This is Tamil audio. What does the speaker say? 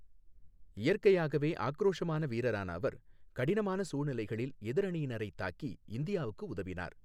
இயற்கையாகவே ஆக்ரோஷமான வீரரான அவர், கடினமான சூழ்நிலைகளில் எதிர் அணியினரை தாக்கி இந்தியாவுக்கு உதவினார்.